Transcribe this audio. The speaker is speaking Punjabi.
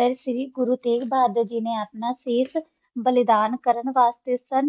ਦਾ ਗੁਰੋ ਗੀ ਨਾ ਆਪਣਾ ਬਸੇ ਬਲਿਦਾਨ ਕਰ ਵਾਸਤਾ